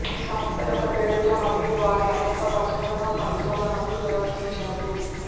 ఈ సంస్థ యొక్క పేరుతో మరియు వారి అనేక పరిశోధన పరిశోధనలు నిర్వహించారు